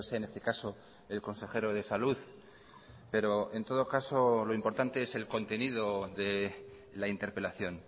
en este caso el consejero de salud pero en todo caso lo importante es el contenido de la interpelación